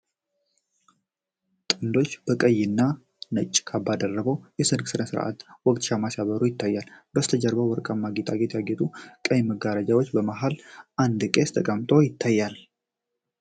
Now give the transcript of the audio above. ጥንዶቹ በቀይና ነጭ ካባዎች ደርበው፣ በሠርግ ሥነ ሥርዓት ወቅት ሻማ ሲያበሩ ይታያል። በስተጀርባ በወርቃማ ጌጣጌጥ ያጌጡ ቀይ መጋረጃዎችና በመሀል አንድ ቄስ ተቀምጦ ይታያል።